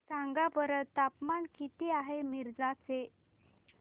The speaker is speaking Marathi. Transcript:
सांगा बरं तापमान किती आहे मिरज चे